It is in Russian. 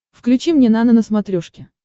включи мне нано на смотрешке